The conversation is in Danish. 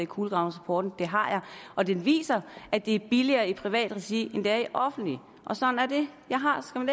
kulegravningsrapporten det har jeg og den viser at det er billigere i privat regi end det er i offentligt sådan er det jeg har skam